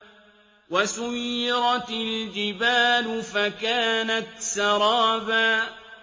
وَسُيِّرَتِ الْجِبَالُ فَكَانَتْ سَرَابًا